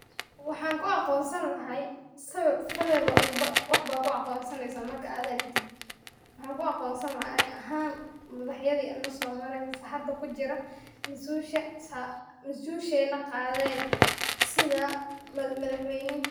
Wxan ku aqonsan lahay sawir, sawir walba wax bad kuaqonsani marka ad aragtiti, wxanku aqonsani laha ani ahan madaxyadi nasomare mise hada kujira masusha, masushena qaden sitha mawadaxwna